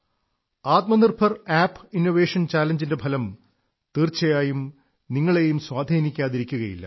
Atmanirbhar app innovation challenge ന്റെ ഫലം തീർച്ചയായും നിങ്ങളെയും സ്വാധീനിക്കാതിരിക്കില്ല